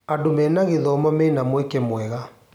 Andũ mena gĩthomo mena mweke mwega.